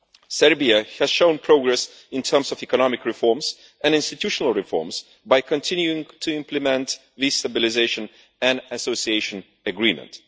Serbia has shown progress in terms of economic reforms and institutional reforms by continuing to implement the Stabilisation and Association Agreement.